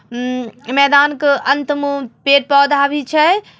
ऊ मैदान के अंत मो पेड़ पोधा भी छे।